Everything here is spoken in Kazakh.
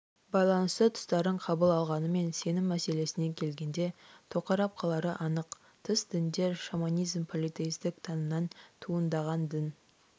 байланысты тұстарын қабыл алғанымен сенім мәселесіне келгенде тоқырап қалары анық тыс діндер шаманизм политеистік танымнан туындаған дін